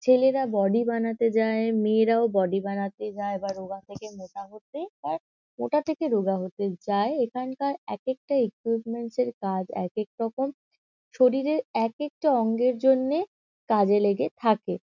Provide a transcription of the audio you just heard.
ছেলেরা বডি বানাতে যায়। মেয়েরাও বডি বানাতে যায় বা রোগা থেকে মোটা হতে বা মোটা থেকে রোগা হতে যায়। এখানকার একেকটা ইকুইপমেন্টস -এর কাজ একেক রকম। শরীরের একেকটা অঙ্গের জন্যে কাজে লেগে থাকে।